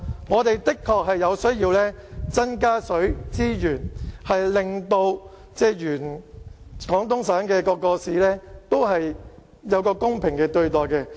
我們的確需要增加水資源，令廣東省各市得到公平對待。